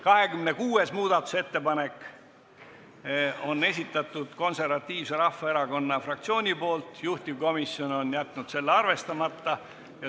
26. muudatusettepaneku on esitanud Eesti Konservatiivse Rahvaerakonna fraktsioon ja juhtivkomisjon on jätnud selle arvestamata.